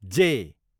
जे